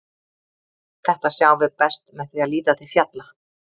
Þetta sjáum við best með því að líta til fjalla.